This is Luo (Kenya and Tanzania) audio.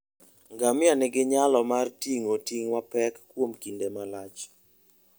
Ngamia nigi nyalo mar ting'o ting' mapek kuom kinde malach.